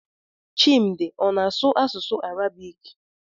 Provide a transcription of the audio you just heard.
Chimdi ọ na-asụ asụsụ Arabik?